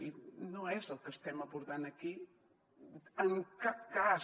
i no és el que estem aportant aquí en cap cas